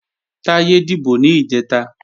Táyé dìbò ní ìjẹta